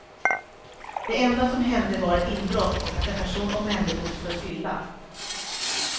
Det enda som hände var ett inbrott och att en person omhändertogs för fylla.